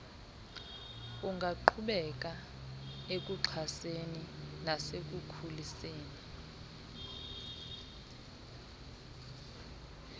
ungaqhubeka ekuxhaseni nasekukhuliseni